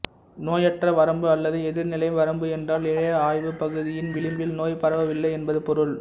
நோயற்ற வரம்பு அல்லது எதிர்நிலை வரம்பு என்றால் இழைய ஆய்வுப் பகுதியின் விளிம்பில் நோய் பரவவில்லை என்பது பொருள்